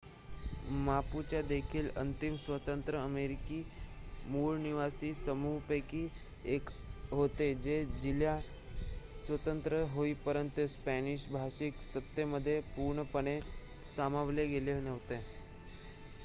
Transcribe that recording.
Mapuche देखील अंतिम स्वतंत्र अमेरिकी मूळनिवासी समूहांपैकी एक होते जे चिली स्वतंत्र होईपर्यंत स्पॅनिश-भाषिक सत्तेमध्ये पूर्णपणे सामावले गेले नव्हते